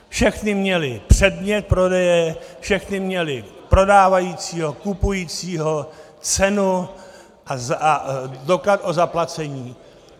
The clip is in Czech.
Všechny měly předmět prodeje, všechny měly prodávajícího, kupujícího, cenu a doklad o zaplacení.